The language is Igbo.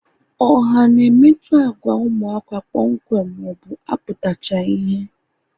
Ọha na-emetụta agwa ụmụaka kpọmkwem maọbụ aputachaghi ihe